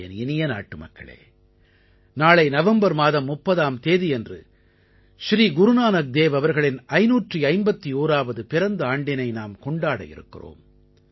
என் இனிய நாட்டுமக்களே நாளை நவம்பர் மாதம் 30ஆம் தேதியன்று ஸ்ரீ குருநானக் தேவ் அவர்களின் 551ஆவது பிறந்த ஆண்டினை நாம் கொண்டாட இருக்கிறோம்